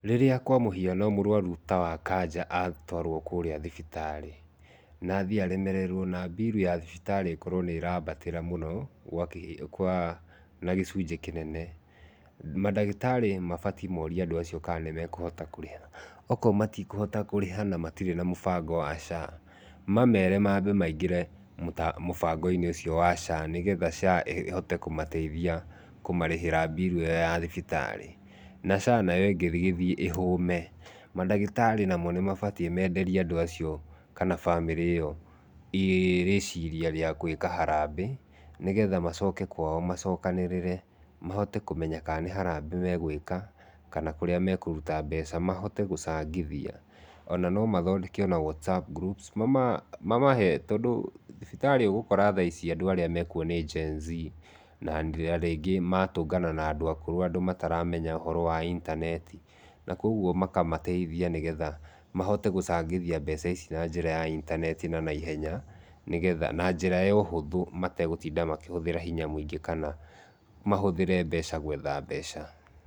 Rĩrĩa kwa muhiano mũrwaru ta wa cancer atarwo kũrĩa thibitarĩ na athĩĩ aremererwo na birũ ya thibitarĩ ĩkorwo nĩ ĩrambatĩra mũno na gĩcunjĩ kĩnene, mandagĩtarĩ mabatĩĩ morie andũ acio ka nĩmekũhota kũrĩha, akorwo matikũhota kũrĩha na matirĩ na mũbango wa social health authority mamere mambe maingĩre mũbango-inĩ ũcio wa social health authority nĩgetha ĩhote kũmateithia kũmarĩhĩra birũ ĩyo ya thibitarĩ. Na social health authority ĩngĩgĩthĩĩ ĩhũme mandagĩtarĩ namo nĩ mabatĩĩ menderie andũ acio kana bamĩrĩ ĩyo rĩciria rĩa gwĩka harambee nĩgetha macoke kwaũ macokanĩrĩre mahote kũmenya ka nĩ harambee megwĩka kana kũrĩa mekũruta mbeca mahote gũcangithia. Ona no mathondeke ona whatsapp groups mamahe tondũ thibitarĩ ũgũkora thaici andũ arĩa mekuo nĩ genz na rĩngĩ magatũngana na andũ akũrũ andũ mataramenya ũhoro wa intaneti, na koguo makamateithia nĩgetha mahote gũcangithia mbeca ici na njĩra ya intaneti na naihenya, na njĩra ya ũhũthũ mategũtinda makĩhũthĩra hinya mũingĩ kana mahũthĩre mbeca gwetha mbeca.